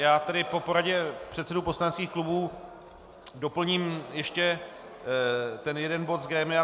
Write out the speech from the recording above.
Já tedy po poradě předsedů poslaneckých klubů doplním ještě ten jeden bod z grémia.